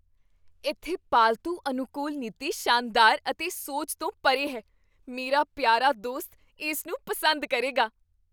ਇੱਥੇ ਪਾਲਤੂ ਅਨੁਕੂਲ ਨੀਤੀ ਸ਼ਾਨਦਾਰ ਅਤੇ ਸੋਚ ਤੋਂ ਪਰੇ ਹੈ ਮੇਰਾ ਪਿਆਰਾ ਦੋਸਤ ਇਸਨੂੰ ਪਸੰਦ ਕਰੇਗਾ!